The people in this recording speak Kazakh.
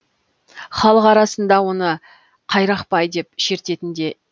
халық арасында оны қайрақбай деп шертетін де